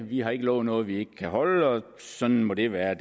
vi har ikke lovet noget vi ikke kan holde og sådan må det være